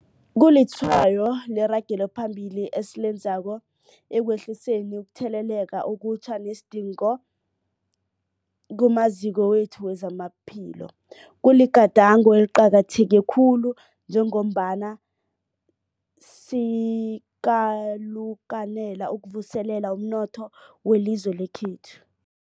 Kulitshwayo leragelo phambili esilenzako ekwehliseni ukutheleleka okutjha nesidingo kumaziko wethu wezamaphilo. Kuligadango eliqakatheke khulu njengombana sikalukanela ukuvuselela umnotho welizwe lekhethu.